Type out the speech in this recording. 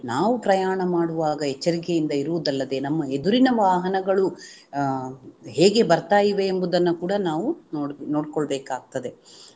ನಾವು ಪ್ರಯಾಣ ಮಾಡುವಾಗ ಎಚ್ಚರಿಕೆಯಿಂದ ಇರುವುದಲ್ಲದೆ ನಮ್ಮ ಎದುರಿನ ವಾಹನಗಳು ಅಹ್ ಹೇಗೆ ಬರ್ತಾ ಇವೆ ಎಂಬುದನ್ನ ಕೂಡ ನಾವು ನೋಡ್~ ನೋಡ್ಕೊಳ್ಳಬೇಕಾಗ್ತದೆ.